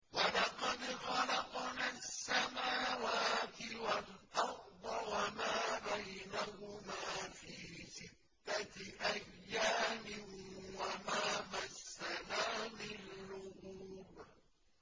وَلَقَدْ خَلَقْنَا السَّمَاوَاتِ وَالْأَرْضَ وَمَا بَيْنَهُمَا فِي سِتَّةِ أَيَّامٍ وَمَا مَسَّنَا مِن لُّغُوبٍ